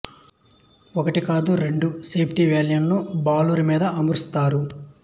ఒకటి కాదు రెండు సేఫ్టి వాల్వులను బాయిలరు మీద అమర్చుతారు